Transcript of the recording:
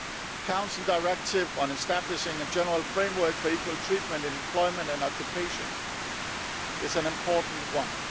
The Council directive on establishing a general framework for equal treatment in employment and occupation is an important one.